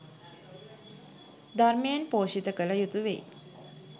ධර්මයෙන් පෝෂිත කළ යුතු වෙයි